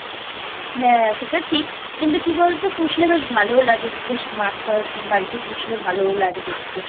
হ্যাঁ সেটা ঠিক কিন্তু কি বলতো পুষলে বেশ ভালো লাগে বেশ মাছ ফাছ বাড়িতে পুষলে ভালোও লাগে দেখতে।